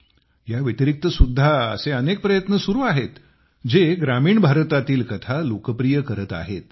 याव्यतिरिक्त सुद्धा असे अनेक प्रयत्न सुरू आहेत जे ग्रामीण भारतातील कथा लोकप्रिय करत आहेत